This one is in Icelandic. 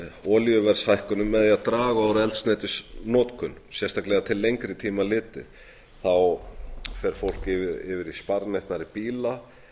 olíuverðshækkunum með því að draga úr eldsneytisnotkun sérstaklega til lengri tíma litið þá fer fólk yfir í sparneytnari bíla